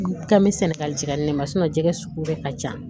K'an bɛ sɛnɛgali jigi yan ne ma jɛgɛ sugu bɛɛ ka ca